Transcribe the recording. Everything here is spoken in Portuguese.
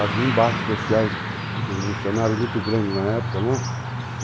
Havia embates sociais revolucionários muito grandes na época, né? Uhum.